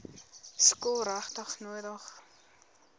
skool regtig nodig